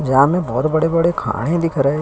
यहाँ में बहोत बड़े-बड़े दिख रहें।